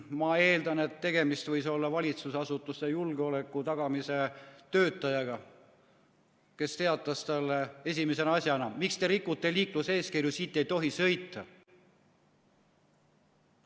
Ma eeldan, et tegemist võis olla valitsusasutuste julgeoleku tagamise töötajaga, kes teatas talle esimese asjana, et miks te rikute liikluseeskirju, siit ei tohi sõita.